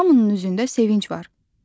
Hamının üzündə sevinc var.